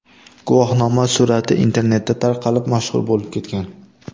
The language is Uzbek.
Guvohnoma surati internetda tarqalib, mashhur bo‘lib ketgan.